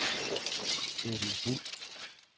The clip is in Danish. Edel Buhl